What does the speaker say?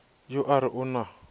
yo a re o na